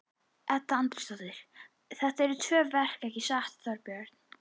Edda Andrésdóttir: Þetta eru tvö verk ekki satt Þorbjörn?